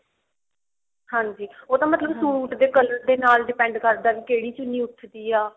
ਹਾਂਜੀ ਉਹ ਤਾਂ ਮਤਲਬ ਸੂਟ ਦੇ color ਦੇ ਨਾਲ depend ਕਰਦਾ ਵੀ ਕਿਹੜੀ ਚੁੰਨੀ ਉੱਠਦੀ ਆ